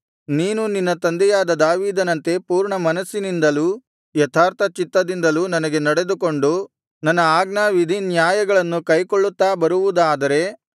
ನೀನು ನಿನ್ನ ತಂದೆಯಾದ ದಾವೀದನಂತೆ ಪೂರ್ಣಮನಸ್ಸಿನಿಂದಲೂ ಯಥಾರ್ಥಚಿತ್ತದಿಂದಲೂ ನನಗೆ ನಡೆದುಕೊಂಡು ನನ್ನ ಆಜ್ಞಾವಿಧಿನ್ಯಾಯಗಳನ್ನು ಕೈಕೊಳ್ಳುತ್ತಾ ಬರುವುದಾದರೆ